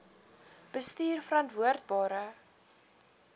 bestuurverantwoordbare